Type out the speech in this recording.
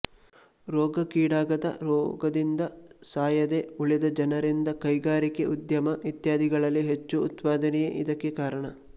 ರೋಗಕ್ಕೀಡಾಗದ ರೋಗದಿಂದ ಸಾಯದೆ ಉಳಿದ ಜನರಿಂದ ಕೈಗಾರಿಕೆ ಉದ್ಯಮ ಇತ್ಯಾದಿಗಳಲ್ಲಿ ಹೆಚ್ಚು ಉತ್ಪಾದನೆಯೇ ಇದಕ್ಕೆ ಕಾರಣ